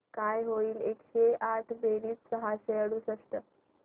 काय होईल एकशे आठ बेरीज सहाशे अडुसष्ट